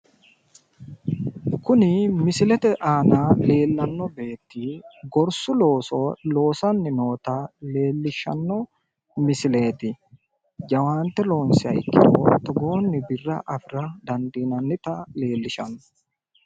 Kuni misilete aana leellanno beetti gorsu looso loosanni noota leellishshanno misileeti. Jawaante loonsiha ikkiro togoonni birra afira dandiinannita leellishanno.